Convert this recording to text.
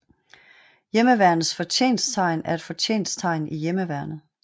Hjemmeværnets Fortjensttegn er et fortjensttegn i Hjemmeværnet